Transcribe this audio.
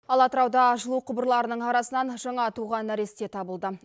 ал атырауда жылу құбырларының арасынан жаңа туған нәресте табылды